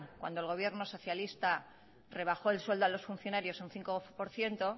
cuando el gobierno socialista rebajó el sueldo a los funcionarios un cinco por ciento